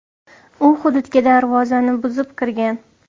U hududga darvozani buzib kirgan.